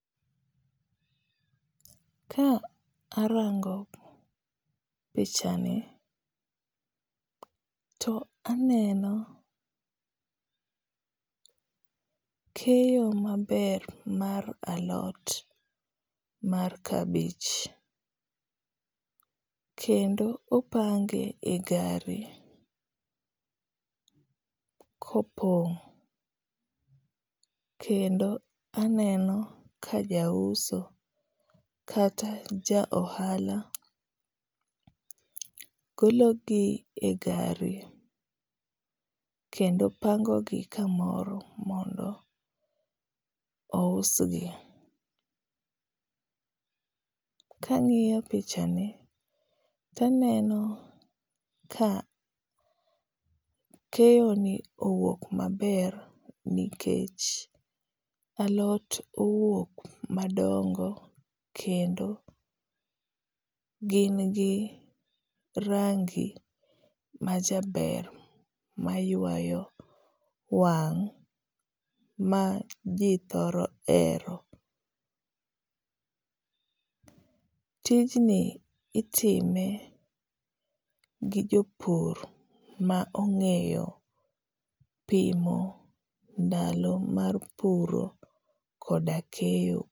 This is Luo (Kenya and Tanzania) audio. Ka arango pichani, to aneno keyo maber mar alot mar kabich. Kendo opange e gari kopong' kendo aneno ka jauso kata ja ohala golo gi e gari kendo pango gi kamoro mondo ousgi. Ka angíyo pichani to aneno ka keyo ni owuok maber nikech alot owuok madongo kendo gin gi rangi majaber maywayo wang' ma ji thoro hero. Tijni itime gi jopur ma ongéyo pimo ndalo mar puro koda keyo.